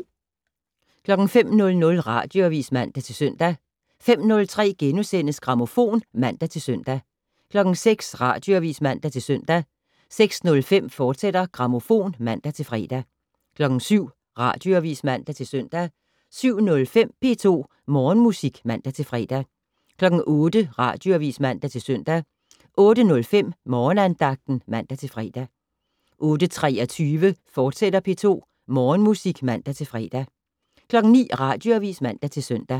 05:00: Radioavis (man-søn) 05:03: Grammofon *(man-søn) 06:00: Radioavis (man-søn) 06:05: Grammofon, fortsat (man-fre) 07:00: Radioavis (man-søn) 07:05: P2 Morgenmusik (man-fre) 08:00: Radioavis (man-søn) 08:05: Morgenandagten (man-fre) 08:23: P2 Morgenmusik, fortsat (man-fre) 09:00: Radioavis (man-søn)